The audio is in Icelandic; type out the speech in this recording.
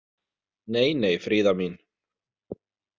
Nei, nei, Fríða mín.